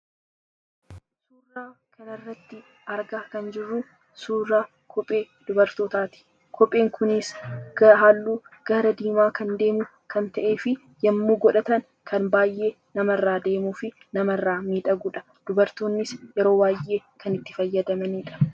Suuraa kanarratti argaa kan jirru suuraa kophee dubartootaati. Kopheen kunis halluu gara diimaa kan deemu kan ta'eefi yommuu godhatan kan baayyee namarraa deemufi namarraa miidhagudha. Dubartoonnis yeroo baayyee kan itti fayyadamanidha.